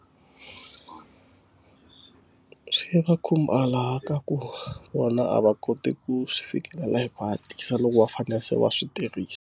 Swi va khumba laha ka ku vona a va koti ku swi fikelela hi ku hatlisa loko va fane se va swi tirhisa.